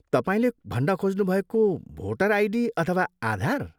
तपाईँले भन्न खोज्नुभएको भोडर आइडी अथवा आधार?